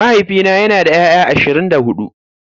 Mahaifina yana da 'ya'ya ashirin da hudu.